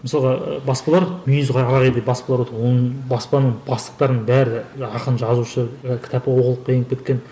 мысалға баспалар мүйізі қарағайдай баспалар отыр оның баспаның бастықтарының бәрі ақын жазушы і кітап оқулыққа еніп кеткен